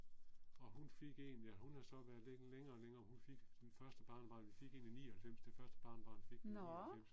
Og hun fik en ja hun er så været lidt længe om det hun fik den første barnebarn vi fik en i 99 det første barnebarn fik vi i 99